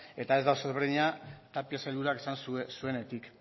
eta da oso ezberdina tapia sailburuak esan zuenetik